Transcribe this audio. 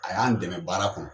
A y'an dɛmɛ baara kɔnɔ